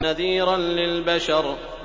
نَذِيرًا لِّلْبَشَرِ